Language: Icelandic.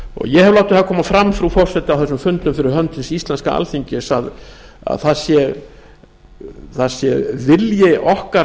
ég hef látið það koma fram frú forseti á þessum fundum fyrir hönd hins íslenska alþingis að það sé vilji okkar